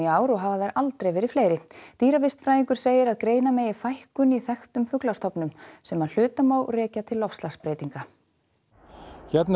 ár og hafa þær aldrei verið fleiri segir að greina megi fækkun í þekktum fuglastofnum sem að hluta má rekja til loftslagsbreytinga hérna